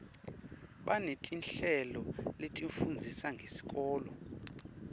banetinhlelo letifundzisa ngesikolo